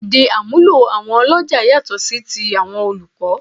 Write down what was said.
Èdè àmúlò àwọn ọlọ́jà yàtọ̀ sí ti àwọn olùkọ́